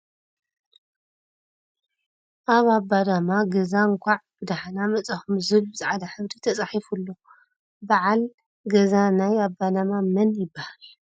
ኣብ ኣባዳማ ገዛ እንካዕ ብ ዳሕና መፃእኩም ዝብል ብ ፅዕዳ ሕብሪ ተፃሒፉ እሎ ። በዓል ገዛ ናይ ኣባዳማ መን ይብሃል ?